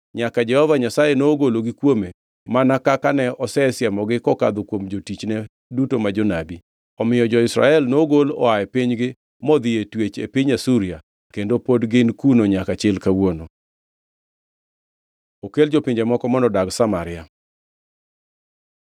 nyaka Jehova Nyasaye nogologi kuome mana kaka ne osesiemogi kokadho kuom jotichne duto ma jonabi. Omiyo jo-Israel nogol oa e pinygi modhi e twech e piny Asuria kendo pod gin kuno nyaka chil kawuono. Okel jopinje moko mondo odag Samaria